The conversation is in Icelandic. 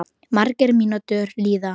Margar mínútur líða.